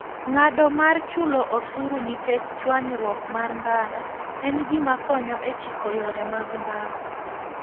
Ng'ado mar chulo osuru nikech chwanyruok mar ndara, en gima konyo e chiko yore mag ndara.